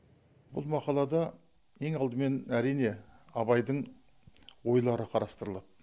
бұл мақалада ең алдымен әрине абайдың ойлары қарастырылады